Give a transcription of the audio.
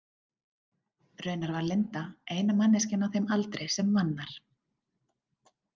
Raunar var Linda eina manneskjan á þeim aldri sem vann þar.